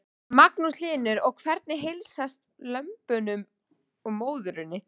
Magnús Hlynur: Og hvernig heilsast lömbunum og móðurinni?